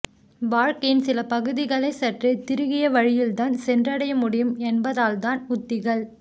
வாழ்க்கையின் சில பகுதிகளைச் சற்றே திருகிய வழியில்தான் சென்றடைய முடியும் என்பதனால்தான் உத்திகள்